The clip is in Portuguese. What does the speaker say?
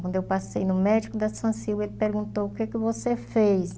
Quando eu passei no médico da, ele perguntou, o que que você fez?